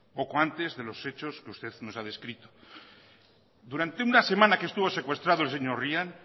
poco antes de los hechos que usted nos ha descrito durante una semana que estuvo secuestrado el señor ryan